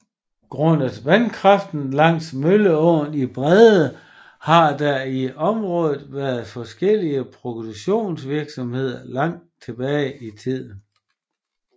Grundet vandkraften langs Mølleåen i Brede har der i området været forskellig produktionsvirksomheder langt tilbage i tiden